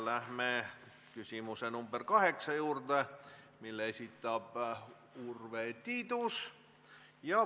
Läheme küsimuse nr 8 juurde, mille esitab Urve Tiidus.